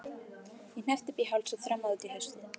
Ég hneppti upp í háls og þrammaði út í haustið.